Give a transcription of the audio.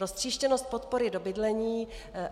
Roztříštěnost podpory do bydlení.